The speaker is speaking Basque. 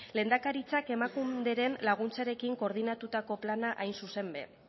lehendakaritzak emakunderen laguntzarekin koordinatutako plana hain zuzen ere